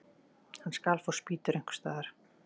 Hann skal fá spýtur einhvers staðar.